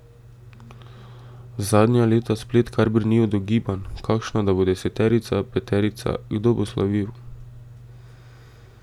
Zadnja leta splet kar brni od ugibanj, kakšna da bo deseterica, peterica, kdo bo slavil.